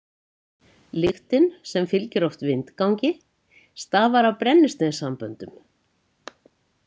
Lyktin sem fylgir oft vindgangi stafar af breinnisteinssamböndum.